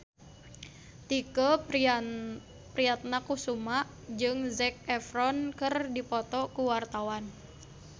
Tike Priatnakusuma jeung Zac Efron keur dipoto ku wartawan